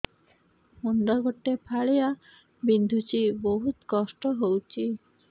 ମୁଣ୍ଡ ଗୋଟେ ଫାଳିଆ ବିନ୍ଧୁଚି ବହୁତ କଷ୍ଟ ହଉଚି